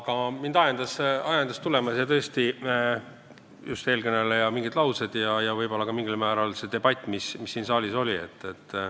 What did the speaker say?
Aga mind ajendasid siia tulema just eelkõneleja mingid laused ja mingil määral ka see debatt, mis siin saalis oli.